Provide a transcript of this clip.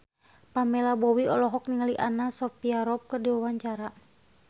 Pamela Bowie olohok ningali Anna Sophia Robb keur diwawancara